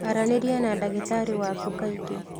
Aranĩria na ndagĩtarĩ waku kaingĩ